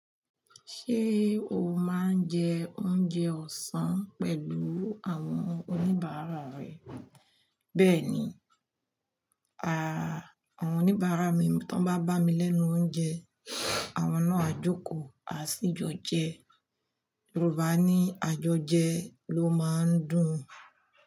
Ṣé o máa ń jẹ oúnjẹ ọ̀sán pẹ̀lú àwọn oníbàárà rẹ? Bẹ́ẹ̀ni, à, àwọn oníbàárà mi tó bá bá mi lẹ́nu oúnjẹ, àwọn náà á jókòó, a sì jo jẹ. Yorùbá ni àjọjẹ ló máa ń dùn-